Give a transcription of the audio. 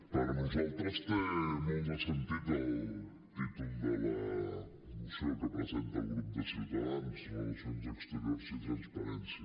per nosaltres té molt de sentit el títol de la moció que presenta el grup de ciutadans relacions exteriors i transparència